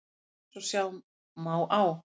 Eins og sjá má á